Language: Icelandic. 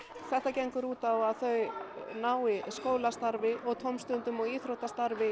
þetta gengur út á að þau nái skólastarfi tómstundum og íþróttum